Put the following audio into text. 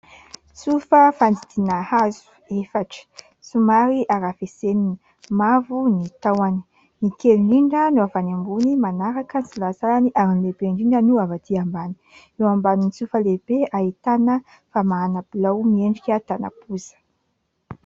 Tsofa fandidiana hazo efatra, somary arafesenina, mavo ny tahony. Ny kely indrindra no avy any ambony, manaraka ny salasalany ary ny lehibe indrindra no avy atỳ ambany. Eo ambanin'ny tsofa lehibe, ahitana famahana bilao miendrika tànam-poza.